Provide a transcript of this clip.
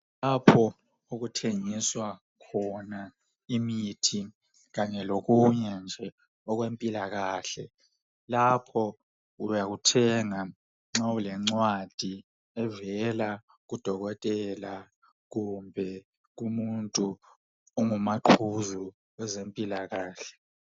Lapho okuthengiswa khona imithi kanye lokunye nje okwempilakahle .Lapho uyakuthenga ,nxa ulencwadi evela kudokotela kumbe umuntu ongumaquzu kwezempilakahle.